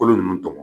Kolo ninnu tɔmɔ